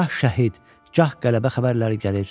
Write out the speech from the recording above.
Gah şəhid, gah qələbə xəbərləri gəlir.